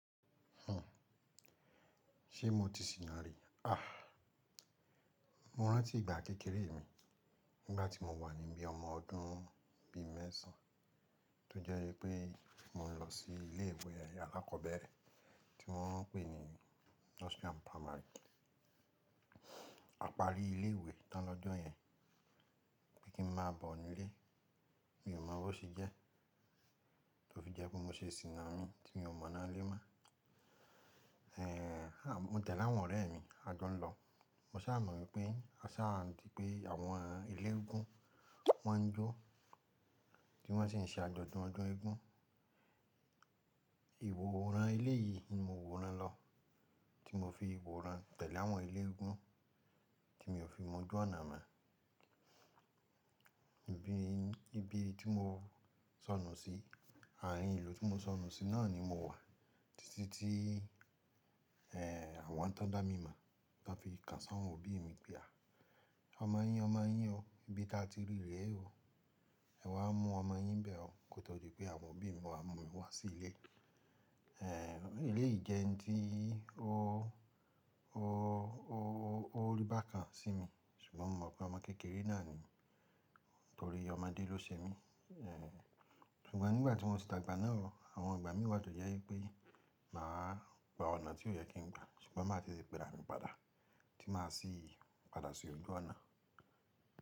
Ṣé mo ti sìnà rí? Ah, mo rántí ìgbà kékeré mi nígbà tí mo wà níbí ọmọ ọdún bíi mẹ́sàn-án tó jẹ́ wípé mo ń lọ sí ilé ìwé alákọ̀ọ́bẹ̀rẹ̀ tí wọ́n ń pè ní Nursery and Primary. Apari ilé ìwé tán lọ́jọ́ yẹn pé kí n máa bọ̀ nílé, mi ò mọ bó ṣe jẹ́, tó fi jẹ́ pé mo ṣe sìnà mi tí mi ò mọ̀ná lé mọ́. Àn, mo tẹ̀lé àwọn ọ̀rẹ́ mi a jọ ń lọ. Mo sá mọ̀ pé a sá n di pé àwọn eléeégún wọn ń jó tí wọ́n sì ń ṣe àjọ̀dún ọdún eégún. Ìwòran eléyìí ni mo wòran lọ tí mo fi wòran tẹ̀lé àwọn ilé eégún tí mi ò fi mọ ojú ọ̀nà mọ́. Ibi tí mo sọnù sí, àárín ìlú tí mo sọnù sí náà ni mo wà títí tí àwọn tó dá mi mọ̀ tó fi kàn s'àwọn òbí mi pé "à, ọmọ yín, ọmọ yín o, ibi táa ti rí ré o, ẹ̀ wá mú ọmọ yín bẹ́ ọ̀" kó tó di pé àwọn òbí mi wá mú mi wá sí ilé. Eléyìí jẹ́ ń tí ó, ó, ó, ó, ó rí bákan sí mi ṣùgbọ́n mo mọ̀ pé ọmọ kékeré náà ni mí nítorí ọmọdé ló ṣe mí. Ṣùgbọ́n nígbà tí mọ́ ṣì dàgbà náà o, àwọn ìgbà mí wá tó jẹ wípé màá gba ọ̀nà tí ó yẹ kí n gba ṣùgbọ́n màá tetè péra mi padà tí màá sì padà sí ojú ọ̀nà.